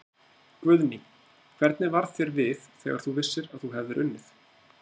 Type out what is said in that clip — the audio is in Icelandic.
Guðný: Hvernig varð þér við þegar þú vissir að þú hefði unnið?